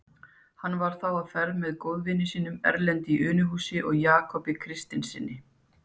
Hann var þá á ferð með góðvinum sínum, Erlendi í Unuhúsi og Jakobi Kristinssyni.